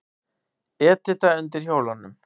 Edita undir hjólunum.